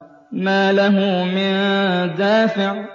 مَّا لَهُ مِن دَافِعٍ